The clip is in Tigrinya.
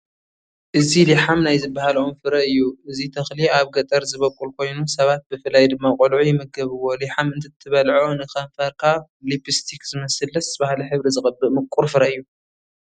እዚ ሊሓም ናይ ዝበሃል ኦም ፍረ እዩ፡፡ እዚ ተኽሊ ኣብ ገጠር ዝበቑል ኮይኑ ሰባት ብፍላይ ድማ ቆልዑ ይምገብዎ፡፡ ሊሓም እንትትበልዖ ንከንፈርካ ሊፕስቲክ ዝመስል ደስ በሃሊ ሕብሪ ዝቐብእ ምቁር ፍረ እዩ፡፡